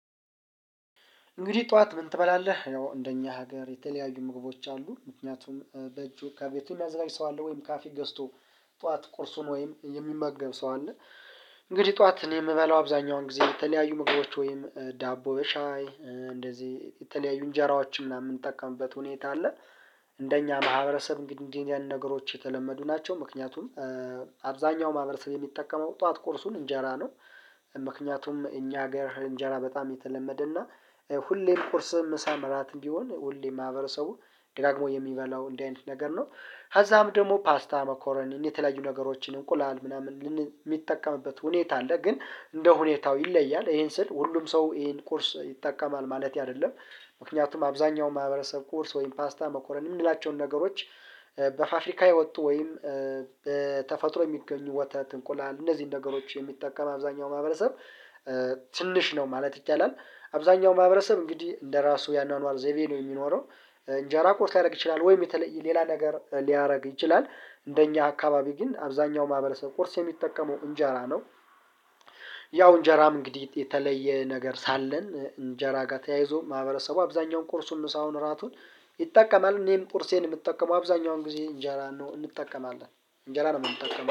እንግዲህ ጠዋት ምን ትበላለህ? ያው እንደኛ ሀገር የተለያዩ ምግቦች አሉ ምክንያቱም በእጁ ከቤቱ የሚያዘጋጅ ሰው አለ ወይም ካፌ ገዝቶ ጠዋት ቁርሱን ወይም የሚመገብ ሰው አለ። እንግዲህ ጠዋት እኔ የምበላው አብዛኛውን ጊዜ የተለያዩ ምግቦች ወይም ዳቦ በሻይ እንደዚህ የተለያዩ እንጀራዎችን ምናምን የምጠቀምበት ሁኔታ አለ። እንደኛ ማህበረሰብ እንግዲህ እንዲህ የሉ ነገሮች የተለመዱ ናቸው ምክንያቱም አብዛኛው ማህበረሰብ የሚጠቀመው ጠዋት ቁርሱን እንጀራ ነው። ምክንያቱም እኛ ሀገር እንጀራ በጣም የተለመደና ሁሌም ቁርስ ምሳም እራትም ቢሆን ሁሌም ማህበረሰቡ ደጋግሞ የሚበላው እንዲህ አይነት ነገር ነው። ከዛም ደግሞ ፓስታ መኮረኒ የተለዩ ነገሮችን እንቁላል ምናምን የሚጠቀምበት ሁኔታ አለ ግን እንደ ሁኔታው ይለያል ይሄን ስል ሁሉም ሰው ይሄን ቁርስ ይጠቀማል ማለት አይደለም። ምክንያቱም አብዛኛው ማህበረሰብ ቁርስ ወይም ፓስታ መኮረንኒ የምንላቸውን ነገሮች በፉፍሪካ የወጡ ወይም በተፈጥሮ የሚገኙ ወተት እንቁላል እነዚህን ነገሮች የሚጠቀም አብዛኛው ማህበረሰብ ትንሽ ነው ማለት ይቻላል። አብዛኛው ማህበረሰብ እንግዲህ እንደራሱ ያኗኗር ዘይቤ ነው የሚኖረው። እንጀራ ቁርስ ሊያደርግ ይችላል ወይም የተለየ ሌላ ነገር ሊያደርግ ይችላል። እንደኛ አካባቢ ግን አብዛኛው ማህበረሰብ ቁርስ የሚጠቀመው እንጀራ ነው። ያው እንጀራም እንግዲህ የተለየ ነገር ሳለን እንጀራ ጋር ተያይዞ ማህበረሰቡ አብዛኛውን ቁርሱን ምሳውን እራቱን ይጠቀማል እኔም ቁርሴን የምጠቀመው አብዛኛው አሁን ጊዜ እንጀራ ነው እንጠቀማለን። እንጀራ ነው የምንጠቀመው